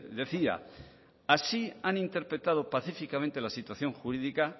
decía así han interpretado pacíficamente la situación jurídica